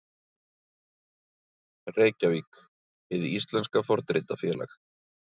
Reykjavík, Hið íslenska fornritafélag.